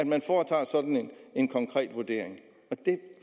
man foretager sådan en konkret vurdering det